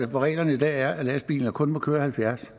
hvor reglerne i dag er at lastbiler kun må køre halvfjerds